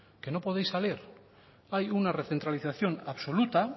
que no podéis salir hay una recentralización absoluta